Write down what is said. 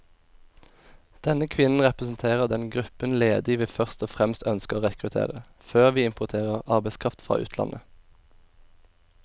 Denne kvinnen representerer den gruppen ledige vi først og fremst ønsker å rekruttere, før vi importerer arbeidskraft fra utlandet.